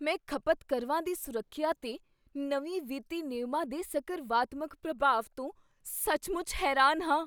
ਮੈਂ ਖ਼ਪਤਕਰਵਾਂ ਦੀ ਸੁਰੱਖਿਆ 'ਤੇ ਨਵੇਂ ਵਿੱਤੀ ਨਿਯਮਾਂ ਦੇ ਸਕਰਵਾਤਮਕ ਪ੍ਰਭਾਵ ਤੋਂ ਸੱਚਮੁੱਚ ਹੈਰਾਨ ਹਾਂ।